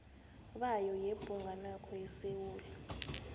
bayo yebhugwanakho yesewula